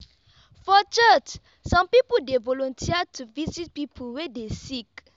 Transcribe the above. for church some pipu dey volunteer to visit pipu wey dey sick.